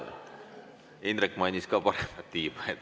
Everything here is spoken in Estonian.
Indrek mainis ka paremat tiiba.